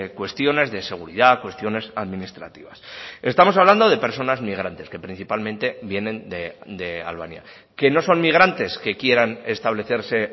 cuestiones de seguridad cuestiones administrativas estamos hablando de personas migrantes que principalmente vienen de albania que no son migrantes que quieran establecerse